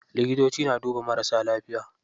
Likitoci na duba marasa lafiya.